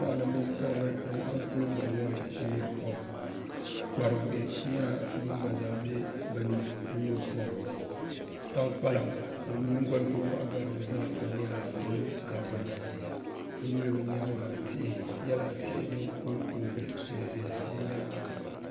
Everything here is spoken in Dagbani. Mɔɣini binkɔbiri n laɣim kuli bɔŋ ŋɔ ni n nyuri kom kparibuhi bini gba zaa bɛ bini n nyuri kom saŋkpaliŋ ŋuni yingoli kuli wɔɣi gari bi zaa gba nyɛla ŋuni gabi bi ni a yi yuli bi yɛanga tihi nyɛla tihi sini kuu kuugi n zɛ bi yɛanga.